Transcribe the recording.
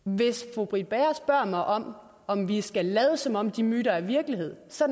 hvis fru britt bager spørger mig om om vi skal lade som om de myter er virkelighed så